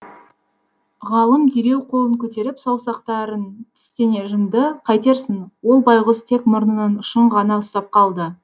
ғалым дереу қолын көтеріп саусақтарын тістене жұмды қайтерсің ол байғұс тек мұрнының ұшын ғана ұстап қалды